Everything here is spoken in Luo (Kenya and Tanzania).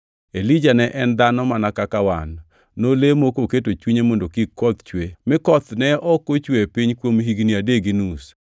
Elija ne en dhano mana kaka wan. Nolemo koketo chunye mondo kik koth chue, mi koth ne ok ochwe e piny kuom higni adek gi nus.